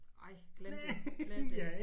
Ej glem det glem det